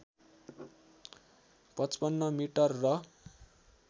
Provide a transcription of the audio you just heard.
५५ metre र